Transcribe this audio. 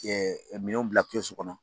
minɛnw bila kɛsu kɔnɔ.